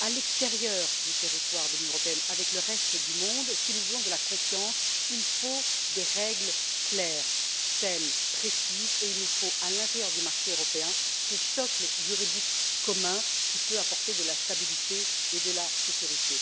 à l'extérieur du territoire de l'Union européenne, avec le reste du monde, si nous voulons de la confiance, il faut des règles claires, saines et précises, et il nous faut à l'intérieur du marché européen ce socle juridique commun qui peut apporter de la stabilité et de la sécurité.